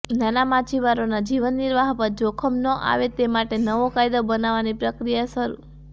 નાના માછીમારોના જીવનનિર્વાહ પર જોખમ ન આવે તે માટે નવો કાયદો બનાવવાની પ્રક્રિયા શરૂ